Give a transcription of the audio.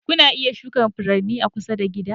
Kuna iya shuka furanni a kusa da gida.